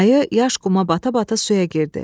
Ayı yaş quma bata-bata suya girdi.